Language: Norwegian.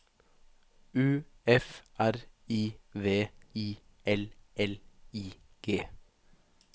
U F R I V I L L I G